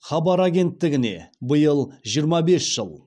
хабар агенттігіне биыл жиырма бес жыл